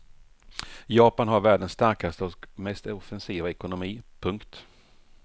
Japan har världens starkaste och mest offensiva ekonomi. punkt